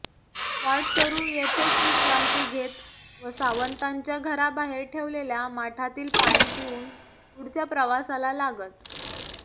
वाटसरू येथेच विश्रांती घेत व सावंतांच्या घराबाहेर ठेवलेल्या माठातील पाणी पिऊन पुढच्या प्रवासाला लागत